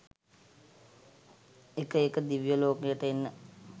එක එක දිව්‍යලෝකයට එන්න